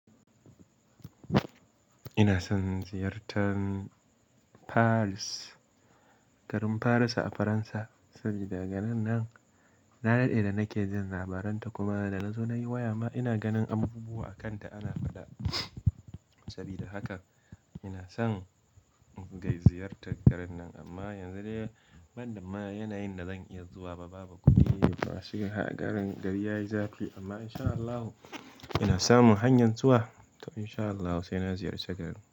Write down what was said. Ina son ziyartar Paris, garin Faransa a Faransa, saboda daga nan na daɗe da nake jin labaran ta kuma da nazo nayi waya ma ina ganin abubuwa a kan ta ana faɗa. Saboda haka ina son kai ziyartar garin nan amma yanzu dai ban da ma yanayin da zan iya zuwa ba, babu kuɗi. To shi garin gari yayi zafi amma in sha Allahu ina samun hanyan zuwa to in sha Allahu sai na ziyarce garin.